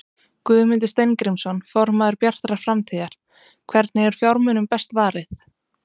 Guðmundur Steingrímsson, formaður Bjartrar framtíðar: Hvernig er fjármunum best varið?